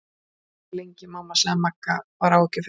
Ég má ekki vera lengi, mamma sagði það Magga var áhyggjufull.